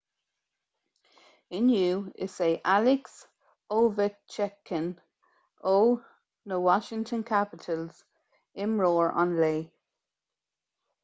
inniu is é alex ovechkin ó na washington capitals imreoir an lae